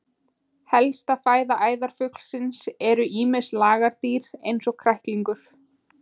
Helsta fæða æðarfuglsins eru ýmis lagardýr eins og kræklingur.